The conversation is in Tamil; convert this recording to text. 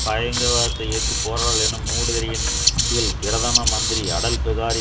பயங்கரவாதத்தை எதிர்த்து போராடல் எனும் மூடுதிரையின் கீழ் பிரதம மந்திரி அடல்பிகாரி